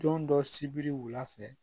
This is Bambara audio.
Don dɔ sibiri wula fɛ